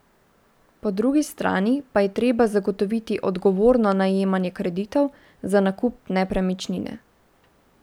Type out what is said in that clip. Po drugi strani pa je treba zagotoviti odgovorno najemanje kreditov za nakup nepremičnine.